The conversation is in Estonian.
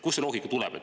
Kust see loogika tuleb?